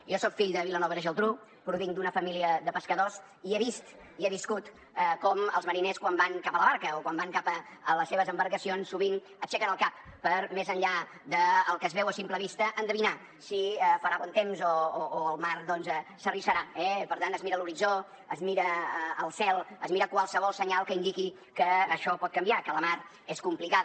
jo soc fill de vilanova i la geltrú provinc d’una família de pescadors i he vist i he viscut com els mariners quan van cap a la barca o quan van cap a les seves embarcacions sovint aixequen el cap per més enllà del que es veu a simple vista endevinar si farà bon temps o el mar doncs s’arrissarà eh per tant es mira l’horitzó es mira el cel es mira qualsevol senyal que indiqui que això pot canviar que la mar és complicada